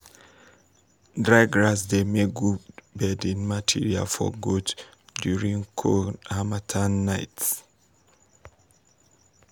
dried grass dey make good bedding material for goats during cold harmattan nights.